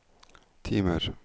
timer